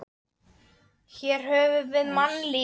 Hér höfum við mannlífið í sínum blæbrigðaríkustu myndum.